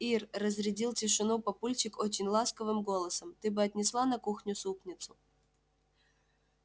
ир разрядил тишину папульчик очень ласковым голосом ты бы отнесла на кухню супницу